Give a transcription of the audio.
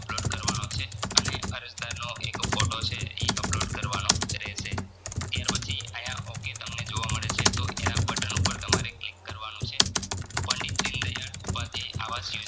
upload કરવાનો છે અને અરજદારનો એક photo છે ઈ upload કરવાનો રહેશે ત્યાર પછી આયા ok તમને જોવા મળે છે. તો એના બટન ઉપર click કરવાનું છે પંડિત દીનદયાળ આવાસ યોજના